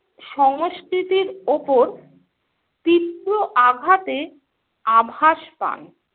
সংস্কৃতির ওপর তীব্র আঘাতে আভাস পান।